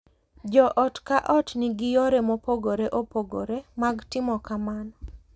Jo ot ka ot nigi yore mopogore opogore mag timo kamano.